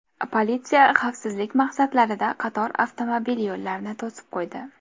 Politsiya xavfsizlik maqsadlarida qator avtomobil yo‘llarini to‘sib qo‘ydi.